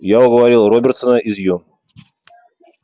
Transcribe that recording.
я уговорил робертсона из ё